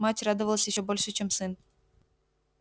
мать радовалась ещё больше чем сын